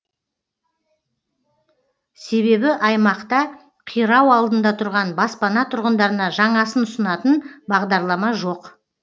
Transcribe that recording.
себебі аймақта қирау алдында тұрған баспана тұрғындарына жаңасын ұсынатын бағдарлама жоқ